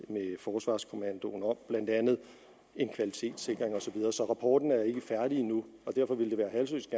forsvarskommandoen om blandt andet en kvalitetssikring og så videre så rapporten er ikke færdig endnu og derfor ville det være halsløs